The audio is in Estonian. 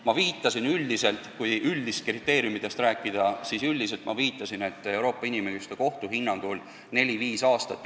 Ma viitasin enne, et kui üldistest kriteeriumidest rääkida, siis Euroopa Inimõiguste Kohtu hinnangul on see aeg neli-viis aastat.